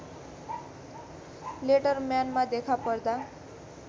लेटरम्यानमा देखापर्दा